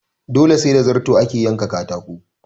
Dole sai da zarto ake yanka katako